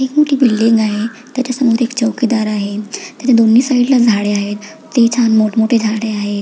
एक मोठी बिल्डिंग आहे त्याच्या समोर एक चौकीदार आहे त्याच्या दोन्ही साइडला झाड आहेत ते छान मोठ मोठे झाड आहेत.